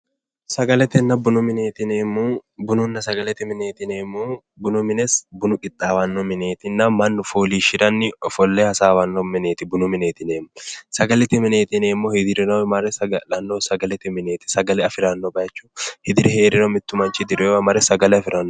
sagaletenna bunu mineeti yineemmohu bununna sagalete yineemmohu bunu mine bunu qixxaawanno mineetinna mannu fooliishshiranni ofolle hasaawanno mineeti bunu mineeti yineemmohu sagalete mineeti yineemmohuno hudirinohu mare saga'lanno mineeti hudire heeriro mare sagale afiranno.